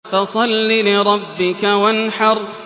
فَصَلِّ لِرَبِّكَ وَانْحَرْ